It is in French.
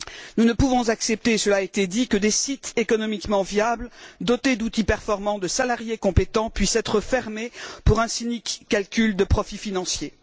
Nous ne pouvons accepter, cela a été dit, que des sites économiquement viables, dotés d'outils performants, de salariés compétents, puissent être fermés pour un cynique calcul de profits financiers.